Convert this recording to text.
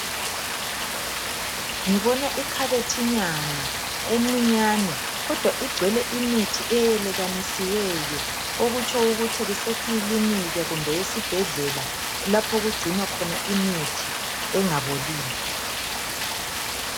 Ngibona ikhabethinyana encinyane kodwa igcwele imithi eyelekanisiweyo . Okutsho ukuthi kuse kilinika kumbe esibhedlela lapho okugcinwa khona imithi engaboliyo .